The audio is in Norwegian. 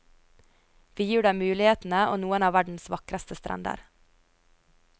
Vi gir deg mulighetene og noen av verdens vakreste strender.